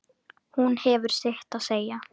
Hún hefur sitt að segja.